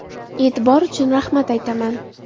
E’tibor uchun rahmat aytaman.